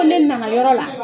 ko ne nana yɔrɔ la